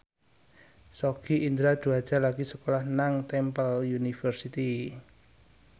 Sogi Indra Duaja lagi sekolah nang Temple University